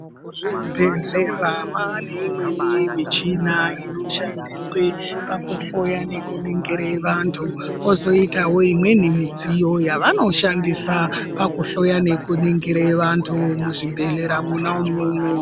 Muzvibhedhlera maane imweni micheni inoshandiswe pakuhloya nekuningire vantu. Kozoitawo imweni midziyo yavanoshandise pakuhloya nekuningire vantu, muzvibhedhlera mwona imwomwo.